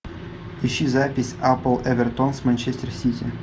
ищи запись апл эвертон с манчестер сити